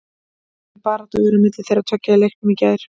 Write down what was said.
Mikil barátta var á milli þeirra tveggja í leiknum í gær.